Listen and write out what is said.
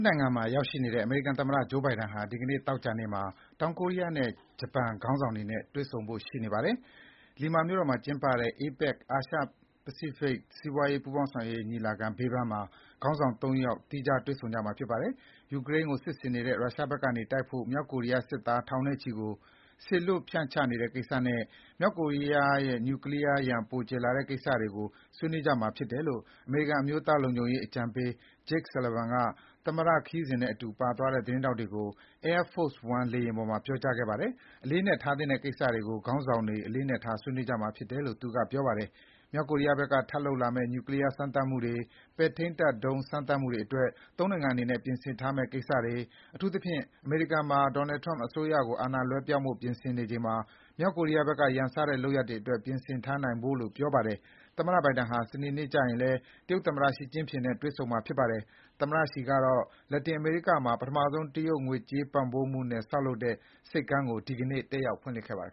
နိုင်ငံမှာရောက်ရှိနေတဲ့ အမေရိကန်သမ္မတ Joe Biden ဟာ ဒီနေ့ သောကြာနေ့မှာ တောင် ကိုရီးယားနဲ့ ဂျပန်ခေါင်းဆောင်တွေနဲ့ တွေ့ဆုံဖို့ရှိနေပါတယ်။ လီမာ (Lima) မြို့တော်မှာကျင်းပတဲ့ APEC အာရှ-ပစိဖိတ်စီးပွားရေးပူးပေါင်းဆောင်ရွက်မှု ညီလာခံ ဘေးပန်းမှာ ခေါင်းဆောင် ၃ ယောက် သီးခြားတွေ့ဆုံကြမှာဖြစ်ပါတယ်။ ယူကရိန်းကို စစ်ဆင်နေတဲ့ ရုရှားဘက်ကနေတိုက်ဖို့ မြောက်ကိုရီးယားစစ်သား ထောင်နဲ့ချီကို စေလွှတ်ဖြန့်ချနေတဲ့ကိစ္စနဲ့မြောက်ကိုရီးယားနဲ့ Nuclear အန္တရာယ် ပိုကျယ်ပြန့်လာတဲ့ကိစ္စတွေကို ဆွေးနွေးကြမှာဖြစ်တယ်လို့ အမေရိကန်အမျိုးသားလုံခြုံရေးအကြံပေး Jake Sullivan က သမ္မတခရီးစဉ်နဲ့အတူပါသွားတဲ့ သတင်းထောက်တွေကို Air Force One လေယာဉ်ပေါ်မှာ ပြောကြားခဲ့ပါတယ်။ အလေးအနက်ထားသင့်တဲ့ ဒီကိစ္စတွေကို ခေါင်းဆောင်တွေ အလေးအနက်ထား ဆွေးနွေးကြမှာဖြစ်တယ်လို့ သူကပြောပါတယ်။ မြောက်ကိုရီးယားဘက်မှာ ထပ်လုပ်လာမယ့် Nuclear စမ်းသပ်မှုတွေ၊ ပဲ့ထိန်းတပ်ဒုံး စမ်းသပ်မှုတွေ အတွက် ၃ နိုင်ငံအနေနဲ့ ပြင်ဆင်ထားမယ့်ကိစ္စတွေ၊ အထူးသဖြင့် အမေရိကန်မှာ Donald Trump အစိုးရကို အာဏာလွှဲပြောင်းဖို့ ပြင်ဆင်နေချိန်မှာ မြောက်ကိုရီးယားဘက်က ရန်စတဲ့ လုပ်ရပ်တွေ အတွက် ပြင်ဆင်ထားနိုင်ဖို့လို့ ပြောပါတယ်။ သမ္မတ Biden ဟာ စနေနေ့ကျရင်လည်း တရုတ်သမ္မတ Xi Jinping နဲ့တွေ့ဆုံမှာဖြစ်ပါတယ်။ သမ္မတ Xi ကတော့လက်တင်အမေရိကမှာ ပထမဆုံး တရုတ်ငွေကြေးပံ့ပိုးမှုနဲ့ ဆောက်လုပ်ထားတဲ့ ဆိပ်ကမ်းကို ဒီနေ့ တက်ရောက်ဖွင့်လှစ်ပေးခဲ့ပါတယ်